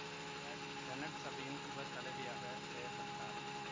இவர் செனட் சபையின் உப தலைவியாகச் செயற்பட்டார்